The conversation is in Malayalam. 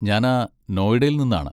ഞാനാ നോയിഡയിൽ നിന്നാണ്.